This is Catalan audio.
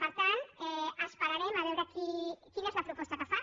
per tant esperarem a veure quina és la proposta que fa